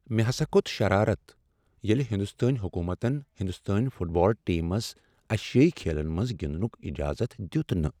مےٚ ہسا کھوٚت شرارت ییٚلہ ہنٛدوستٲنۍ حکومتن ہنٛدوستٲنۍ فٹ بال ٹیمس ایشیٲیی کھیلن منٛز گنٛدنٗک اجازت دیت نہٕ۔